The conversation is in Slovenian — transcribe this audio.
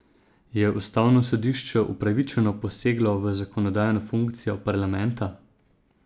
Je ustavno sodišče upravičeno poseglo v zakonodajno funkcijo parlamenta?